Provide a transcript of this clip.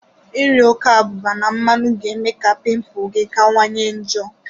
Ịri ọke abụba na mmanụ ga eme ga pimpul gi kawa nye njo.